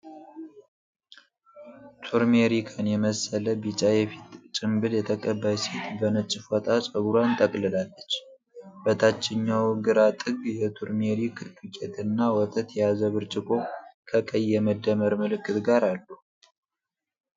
ቱርሜሪክን የመሰለ ቢጫ የፊት ጭምብል የተቀባች ሴት በነጭ ፎጣ ፀጉሯን ጠቅልላለች። በታችኛው ግራ ጥግ የቱርሜሪክ ዱቄት እና ወተት የያዘ ብርጭቆ ከቀይ የመደመር ምልክት ጋር አሉ።